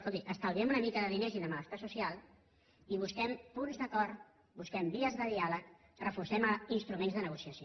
escolti estalviem una mica de diners i de malestar social i busquem punts d’acord busquem vies de diàleg reforcem instruments de negociació